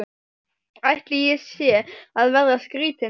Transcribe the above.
Ætli ég sé að verða skrýtin.